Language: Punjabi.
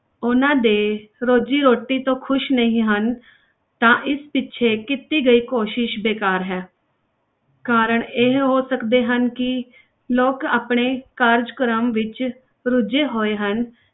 ਉਹਨਾਂ ਦੇ ਰੋਜ਼ੀ ਰੋਟੀ ਤੋਂ ਖ਼ੁਸ਼ ਨਹੀਂ ਹਨ ਤਾਂ ਇਸ ਪੀਛੇ ਕੀਤੀ ਗਈ ਕੋਸ਼ਿਸ਼ ਬੇਕਾਰ ਹੈ ਕਾਰਣ ਇਹ ਹੋ ਸਕਦੇ ਹਨ ਕਿ ਲੋਕ ਆਪਣੇ ਕਾਰਜਕ੍ਰਮ ਵਿੱਚ ਰੁੱਝੇ ਹੋਏ ਹਨ,